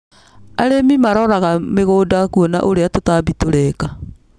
Arĩmi maroraga mĩgũnda kũona ũrĩa tũtambi tũreka.